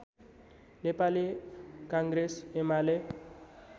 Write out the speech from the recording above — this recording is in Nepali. नेपाली काङ्ग्रेस एमाले